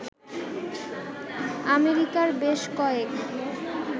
আমেরিকার বেশ কয়েক